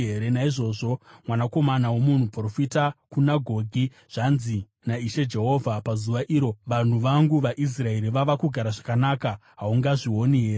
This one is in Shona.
“Naizvozvo, mwanakomana womunhu, profita uti kuna Gogi, ‘Zvanzi naIshe Jehovha: pazuva iro, vanhu vangu vaIsraeri vava kugara zvakanaka, haungazvioni here?